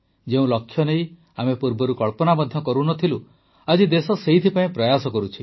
ଯେଉଁ ଲକ୍ଷ୍ୟ ନେଇ ଆମେ ପୂର୍ବରୁ କଳ୍ପନା ମଧ୍ୟ କରୁନଥିଲୁ ଆଜି ଦେଶ ସେଥିପାଇଁ ପ୍ରୟାସ କରୁଛି